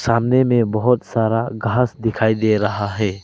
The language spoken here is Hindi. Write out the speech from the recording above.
सामने में बहोत सारा घास दिखाई दे रहा है।